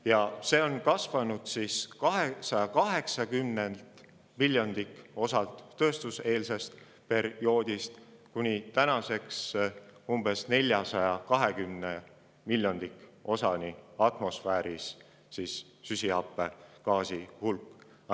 Ja süsihappegaasi hulk atmosfääris on tänaseks kasvanud alates tööstuseelsest perioodist 280 miljondikosalt kuni umbes 420 miljondikosani.